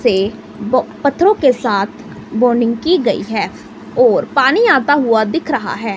से पत्थरों के साथ बॉन्डिंग की गई है और पानी आता हुआ दिख रहा है।